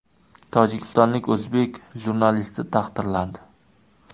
Tojikistonlik o‘zbek jurnalisti taqdirlandi.